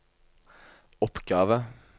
oppgave